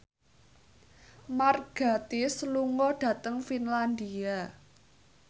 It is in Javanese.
Mark Gatiss lunga dhateng Finlandia